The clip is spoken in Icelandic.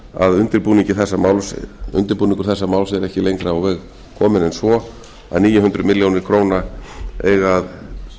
að undirbúningur þessa máls er ekki lengra á veg kominn en svo að níu hundruð milljóna króna eiga að